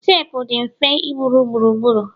teepu dị mfe iburu gburugburu